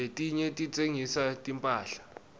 letinye titsengisa timphahla